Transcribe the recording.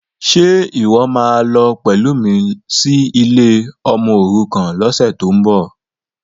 Ṣe ìwọ́ máa lọ pẹ̀lú mi sí ilé ọmọòrukàn lọ́sẹ̀tíbọ̀?